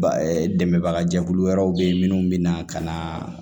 Ba dɛmɛbagajɛkulu wɛrɛw bɛ yen minnu bɛna ka na